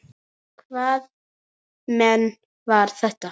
Hvaða menn voru þetta.